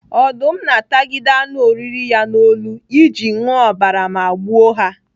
Ọdụm na-atagide anụ oriri ya n'olu iji ṅụo ọbara ya maa gbuo ha.